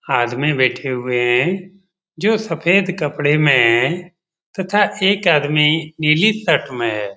आदमी बैठे हुए है जो सफेद कपड़े में तथा एक आदमी नीली शर्ट में है।